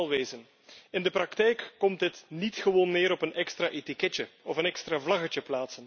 Want laten we wel wezen in de praktijk komt dit niet gewoon neer op een extra etiketje of een extra vlaggetje.